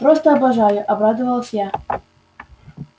просто обожаю обрадовалась я